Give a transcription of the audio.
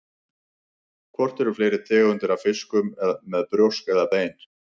Hvort eru fleiri tegundir af fiskum með brjósk eða bein?